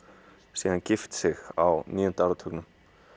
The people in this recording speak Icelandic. síðan gift sig á níunda áratugnum